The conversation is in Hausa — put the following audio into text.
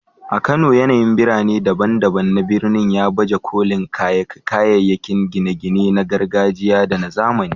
A Kano, yanayin birane daban-daban na birnin ya baje kolin kayayyakin gine-gine na gargajiya da na zamani.